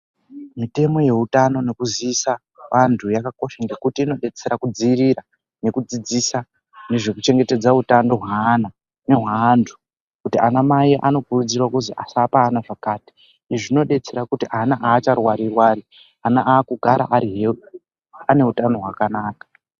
Mitemo yeutano yekuziza antu yakakosha ngekuti inobetsera kudzivirira nekudzidzisa nezvekuchengetedza utano hweana nehweantu. Kuti ana mai anokurudzirwa kuzi asapaana zvakati, izvi zvinobetsera kuti ana hacharwari-rwari ana akugara ari heuti ane utano hwakanaka.